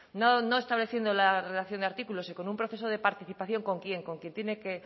no estableciendo la relación de artículos y con un proceso de participación con quién con quien tiene que